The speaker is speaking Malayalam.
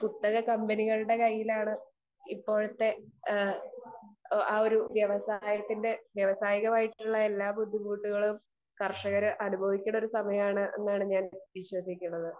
സ്പീക്കർ 2 കുത്തക കമ്പനികളുടെ കയ്യിലാണ് ഇപ്പോഴത്തെ ആ ഒരു വ്യവസായികമായിട്ടുള്ള എല്ലാ ബുദ്ധിമുട്ടുകളും കർഷകർ അനുഭവിക്കേണ്ട ഒരു സമയമാണ് എന്നാണ് വിശ്വസിക്കുന്നത്